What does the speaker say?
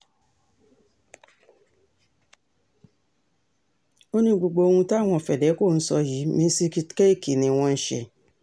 ó ní gbogbo ohun táwọn fedeco ń sọ yìí mísíkítẹ́ẹ̀kì ni wọ́n ń ṣe